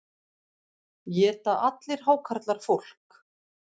Éta allir hákarlar fólk?